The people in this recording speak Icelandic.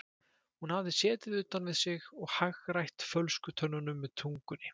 Hún hafði setið utan við sig og hagrætt fölsku tönnunum með tungunni.